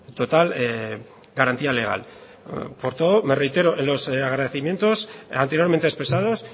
total garantía legal por todo me reitero en los agradecimientos anteriormente expresados